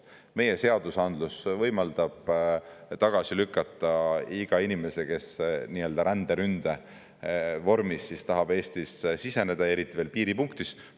Meie seadusandlus võimaldab tagasi lükata iga inimese, kes nii-öelda ränderünde vormis tahab Eestisse siseneda, eriti veel piiripunktis.